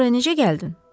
Bəs bura necə gəldin?